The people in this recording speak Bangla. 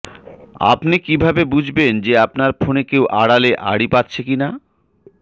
আপনি কীভাবে বুঝবেন যে আপনার ফোনে কেউ আড়ালে আড়ি পাতছে কি না